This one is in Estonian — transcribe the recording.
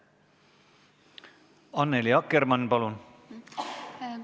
Annely Akkermann, palun!